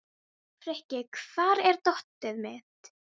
Frikki, hvar er dótið mitt?